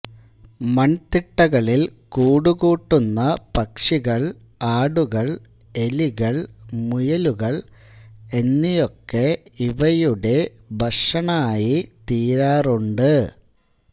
മൺതിട്ടകളിൽ കൂടുകൂട്ടുന്ന പക്ഷികൾ ആടുകൾ എലികൾ മുയലുകൾ എന്നിയൊക്കെ ഇവയുടെ ഭക്ഷണായിത്തീരാറുണ്ട്